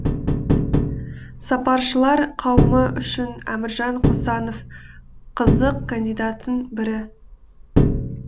сарапшылар қауымы үшін әміржан қосанов қызық кандидаттың бірі